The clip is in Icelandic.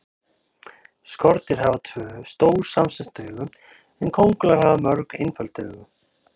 Skordýr hafa tvö, stór samsett augu en kóngulær hafa mörg, einföld augu.